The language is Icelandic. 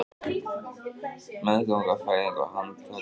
Meðganga, fæðing og handtaka